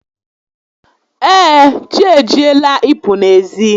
Ee, chi ejiela ị pụ n'ezi